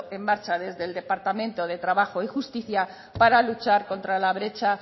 en marcha desde el departamento de trabajo y justicia para luchar contra la brecha